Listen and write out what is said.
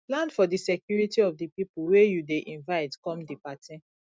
plan for di security of di pipo wey you dey invite come di party